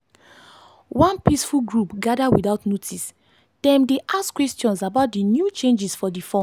one peaceful group gather without notice dem dey ask questions about the new changes for the form.